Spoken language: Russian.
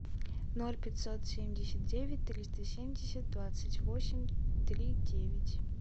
ноль пятьсот семьдесят девять триста семьдесят двадцать восемь три девять